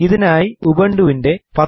ഇതിനായി ഉബുണ്ടുവിൻറെ 10